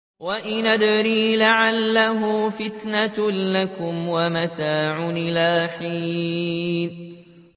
وَإِنْ أَدْرِي لَعَلَّهُ فِتْنَةٌ لَّكُمْ وَمَتَاعٌ إِلَىٰ حِينٍ